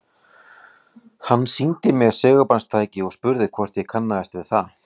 Hann sýndi mér segulbandstæki og spurði hvort ég kannaðist við það.